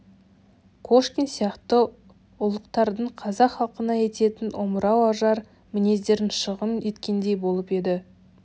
кошкин сияқты ұлықтардың қазақ халқына ететін омырау ожар мінездерін шағым еткендей болып еді